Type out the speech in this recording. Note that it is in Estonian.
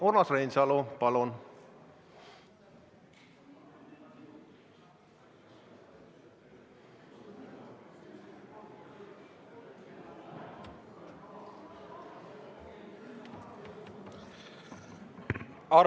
Urmas Reinsalu, palun!